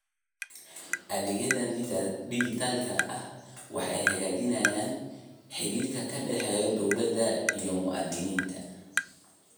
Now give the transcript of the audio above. Adeegyada dijitaalka ah waxay hagaajiyaan xidhiidhka ka dhexeeya dawladda iyo muwaadiniinta.